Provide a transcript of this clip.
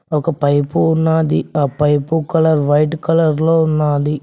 ఒక పైపు ఉన్నాది ఆ పైపు కలర్ వైట్ కలర్ లో ఉన్నాది.